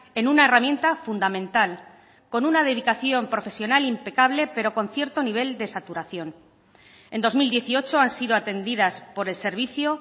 en una herramienta fundamental con una dedicación profesional impecable pero con cierto nivel de saturación en dos mil dieciocho han sido atendidas por el servicio